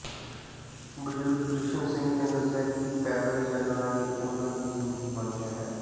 ਬੁਜਰਗ ਕ੍ਰਿਸ਼ਨ ਸਿੰਘ ਨੇ ਦੱਸਿਆ ਕਿ ਪੈਦਲ ਚੱਲਣਾਂ ਹੀ ਉਨਾਂ ਦੀ ਜਿੰਦਗੀ ਬਣ ਗਿਆ ਹੈ